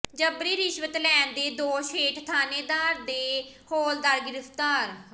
ਜਬਰੀ ਰਿਸ਼ਵਤ ਲੈਣ ਦੇ ਦੋਸ਼ ਹੇਠ ਥਾਣੇਦਾਰ ਤੇ ਹੌਲਦਾਰ ਗ੍ਰਿਫ਼ਤਾਰ